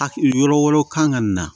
Hakili yɔrɔ wɛrɛw kan ka na